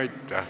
Aitäh!